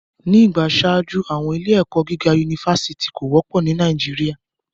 Ni igba iṣaaju, awọn ile-ẹkọ giga unifásitì ko wọpọ ni Nàìjíríà